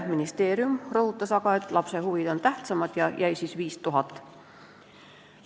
Ministeerium rõhutas aga, et lapse huvid on tähtsamad, ja 5000 eurot siiski jäi.